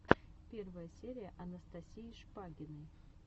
первая серия анастасии шпагиной